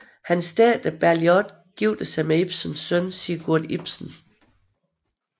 Hans datter Bergliot giftede sig med Ibsens søn Sigurd Ibsen